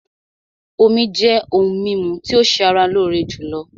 Omí jẹ́ òhún mímú tí o ṣé ara lóore jùlọ.